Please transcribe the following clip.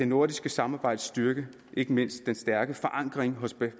nordiske samarbejdes styrke ikke mindst den stærke forankring hos